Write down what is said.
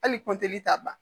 Hali t'a ban